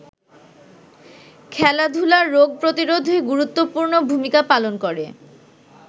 খেলাধুলা রোগ প্রতিরোধে গুরুত্বপূর্ণ ভূমিকা পালন করে।